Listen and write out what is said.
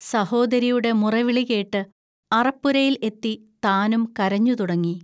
സഹോദരിയുടെ മുറവിളികേട്ട് അറപ്പുരയിൽ എത്തി താനും കരഞ്ഞുതുടങ്ങി